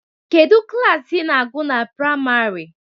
Kedụ klaasị ina agụ na praimarị?